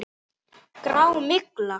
Þín systir, Rúrí.